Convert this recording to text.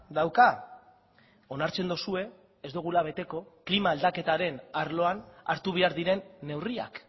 dauka onartzen duzue ez dugula beteko klima aldaketaren arloan hartu behar diren neurriak